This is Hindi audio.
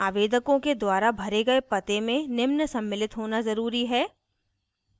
आवेदकों के द्वारा भरे गए the में निम्न सम्मिलित होना ज़रूरी है